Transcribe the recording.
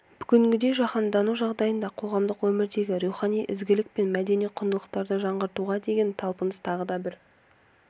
бүгінгідей жаһандану жағдайында қоғамдық өмірдегі рухани ізгілік пен мәдени құндылықтарды жаңғыртуға деген талпыныс тағы да бір